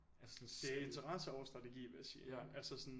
Det er interesse og strategi vil jeg sige altså sådan